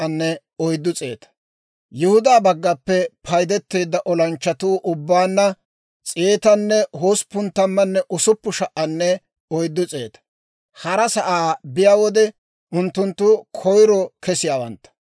Yihudaa baggaappe paydeteedda olanchchatuu ubbaanna 186,400. Hara sa'aa biyaa wode unttunttu koyiro kesiyaawantta.